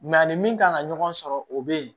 a ni min kan ka ɲɔgɔn sɔrɔ o be yen